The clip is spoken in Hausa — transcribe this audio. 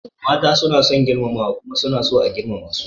Mata suna son girmamawa kuma suna so a girmama su.